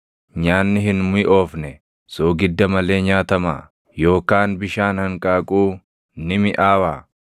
Nyaanni hin miʼoofne soogidda malee nyaatamaa? Yookaan bishaan hanqaaquu ni miʼaawaa?